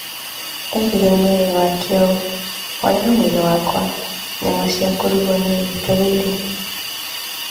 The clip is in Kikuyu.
Eerire mwĩrĩ wake ũũ, "Horera mwĩrĩ wakwa, nyama cia kũrugwo nĩ igwetereire."